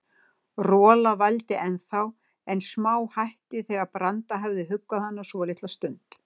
Rola vældi ennþá, en smáhætti þegar Branda hafði huggað hana svolitla stund.